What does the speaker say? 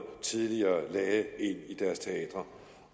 tidligere lagde ind i deres teatre